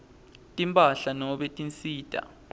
timphahla nobe tinsita